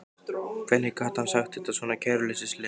Hvernig gat hann sagt þetta svona kæruleysislega?